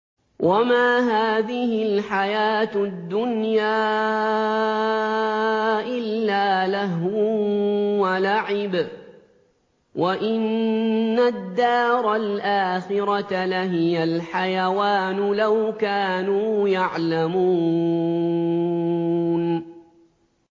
وَمَا هَٰذِهِ الْحَيَاةُ الدُّنْيَا إِلَّا لَهْوٌ وَلَعِبٌ ۚ وَإِنَّ الدَّارَ الْآخِرَةَ لَهِيَ الْحَيَوَانُ ۚ لَوْ كَانُوا يَعْلَمُونَ